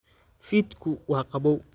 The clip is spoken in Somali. Fiidku waa qabow